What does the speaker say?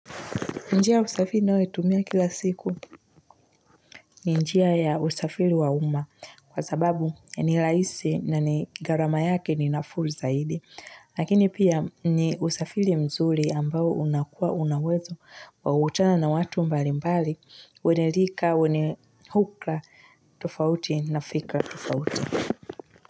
Njia usafiri ninayo itumia kila siku ni njia ya usafiri wa uma kwa sababu ni rahisi na ni gharama yake ni nafuu zaidi. Lakini pia ni usafiri mzuri ambao unakua una uwezo wa kukutana na watu mbali mbali, wenye lika, wennye hulka, tofauti na fikra tofauti.